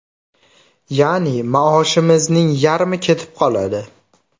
Ya’ni maoshimizning yarmi ketib qoladi.